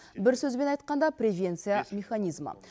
бір сөзбен айтқанда превенция механизмі